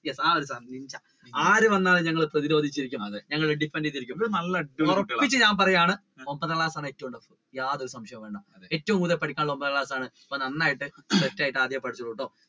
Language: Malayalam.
എന്താണ് ആര് വന്നാലും ഞങ്ങൾ പ്രതിരോധിച്ചോണ്ടിരിക്കണം അല്ലെ ഉറപ്പിച്ചു ഞാൻ പറയുകയാണ് യാതൊരു സംശയും വേണ്ട ഏറ്റവും കൂടുതൽ പഠിക്കാനുള്ളത് ഒൻപതാം ക്ലാസ് ആണ് അപ്പൊ നന്നായിട്ട് അഹ്